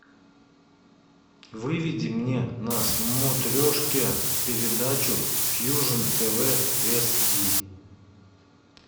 выведи мне на смотрешке передачу фьюжн тв эс ди